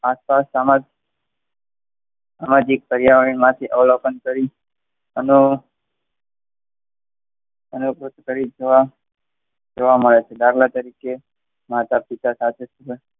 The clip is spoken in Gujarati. આસપાસ સામાજિક પર્યાવરણમાંથી અવલોકન કરી અને અને જોવા મળે છે દાખલા તરીકે માતા પિતા સાથે .